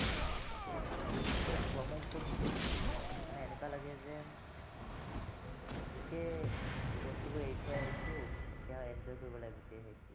যেতিয়া মানে ব্ৰহ্মপুত্ৰৰ বুকুত থাকোঁ ন, মানে এনেকুৱা লাগে যেন গোটেই বস্তুবোৰ এৰি থৈ আহিছোঁ এতিয়া enjoy কৰিব লাগে গোটেই হেৰিটো